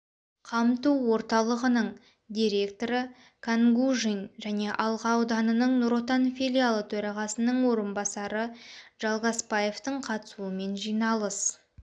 қамту орталығының директоры кангужин және алға ауданының нұр отан филиалы төрағасының орынбасары джалгаспаевтың қатысуымен жиналыс